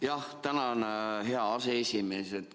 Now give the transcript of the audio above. Jah, tänan, hea aseesimees!